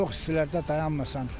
Çox istilərdə dayanmasan.